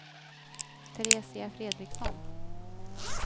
Teresia Fredriksson